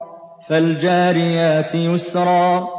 فَالْجَارِيَاتِ يُسْرًا